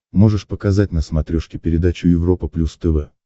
можешь показать на смотрешке передачу европа плюс тв